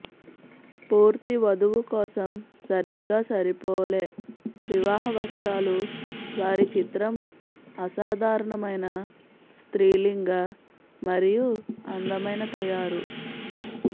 పూర్తి వధువు కోసం సరిగ్గా సరిపోలే వివాహ వస్త్రాలు వారి చిత్రం అసాధారణమైన స్త్రీలింగ మరియు అందమైన తయారు